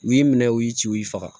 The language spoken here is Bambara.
U y'i minɛ u y'i ci u y'i faga